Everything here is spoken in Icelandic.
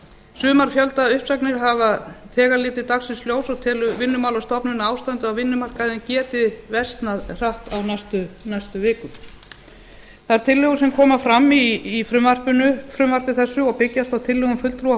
sumar fjöldauppsagnir hafa þegar litið dagsins ljós og telur vinnumálastofnun að ástandið á vinnumarkaði geti versnað hratt á næstu vikum þær tillögur sem koma fram í frumvarpinu frumvarpi þessu og byggjast á tillögum fulltrúa